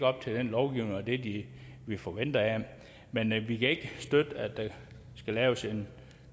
op til den lovgivning og det det vi forventer af dem men vi kan ikke støtte at der skal laves en